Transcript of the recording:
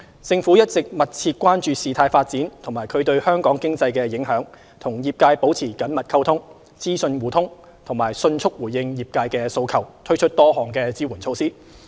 政府一直密切關注事態發展及其對香港經濟的影響，與業界保持緊密溝通，資訊互通，並迅速回應業界訴求，推出多項支援措施。